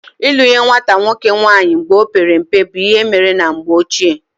Ịlụ nye nwata nwoke nwaanyị mgbe ọ pere mpe bụ ihe emere na mgbe ochie